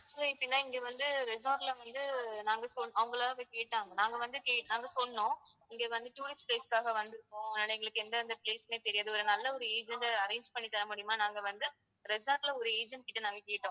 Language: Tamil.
so எப்படின்னா இங்க வந்து resort ல வந்து நாங்க சொன்~ அவங்களா வந்து கேட்டாங்க. நாங்க வந்து கேட்~ நாங்க சொன்னோம் இங்க வந்து tourist place க்காக வந்திருக்கோம் அதனால எங்களுக்கு எந்தெந்த place உமே தெரியாது. ஒரு நல்ல ஒரு agent அ arrange பண்ணித் தர முடியுமா நாங்க வந்து resort ல ஒரு agent கிட்ட நாங்க கேட்டோம்.